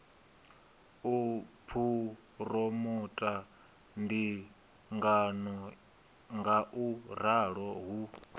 u phuromotha ndingano ngauralo hu